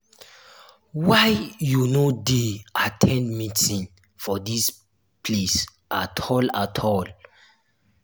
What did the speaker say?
why you no dey at ten d meeting for dis place at all at all